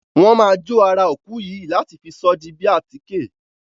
Wọn má jo ará òkú yìí láti fi sọ di bi atike.